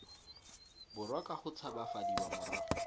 borwa ka go tshabafadiwa morago